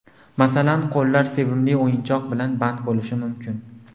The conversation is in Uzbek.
Masalan, qo‘llar sevimli o‘yinchoq bilan band bo‘lishi mumkin.